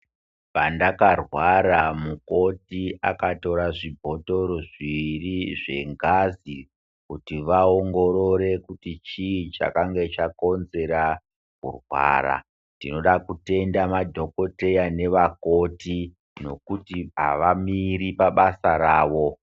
Pandakarwara mukoti akatora zvibhodhoro zviviri zvengazi kuti vaongorore kuti chii chakanga chakonzera kurwara tinoda kutenda madhokodheya navamukoti kuti havamiri pabasa ravo.